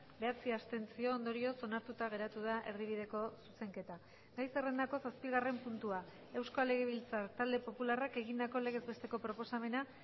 bederatzi abstentzio ondorioz onartuta geratu da erdibideko zuzenketa gai zerrendako zazpigarren puntua euskal legebiltzar talde popularrak egindako legez besteko proposamena